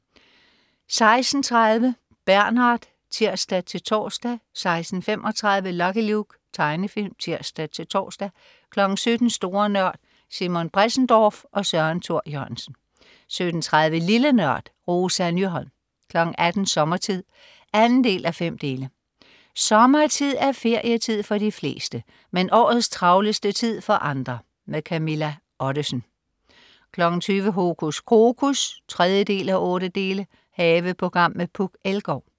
16.30 Bernard (tirs-tors) 16.35 Lucky Luke. Tegnefilm (tirs-tors) 17.00 Store Nørd. Simon Bressendorf og Søren Thor Jørgensen 17.30 Lille Nørd. Rosa Nyholm 18.00 Sommertid. 2:5. Sommertid er ferietid for de fleste, men årets travleste tid for andre. Camilla Ottesen 20.00 Hokus Krokus 3:8. Haveprogram med Puk Elgård